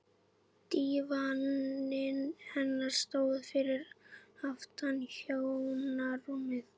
Dívaninn hennar stóð fyrir aftan hjónarúmið.